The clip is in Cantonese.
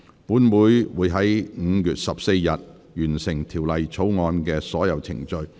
本會會在5月14日，完成《條例草案》的所有程序。